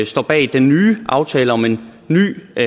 står bag den nye aftale om en ny og